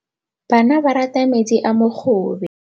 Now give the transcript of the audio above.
Bana ba rata metsi a mogobe.